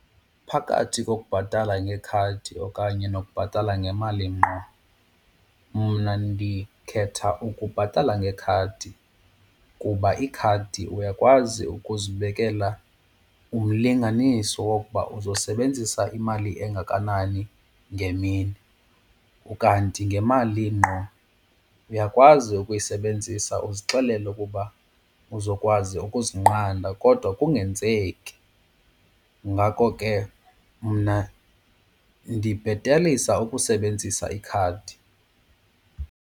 Phakathi kokubhatala ngekhadi okanye nokubhatala ngemali ngqo mna ndikhetha ukubhatala ngekhadi kuba ikhadi uyakwazi ukuzibekela umlinganiso wokuba uzosebenzisa imali engakanani ngemini. Ukanti ngemali ngqo uyakwazi ukuyisebenzisa uzixelele ukuba uzokwazi ukuzinqanda kodwa kungenzeki, ngako ke mna ndibhetelisa ukusebenzisa ikhadi.